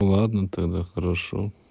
ладно тогда хорошо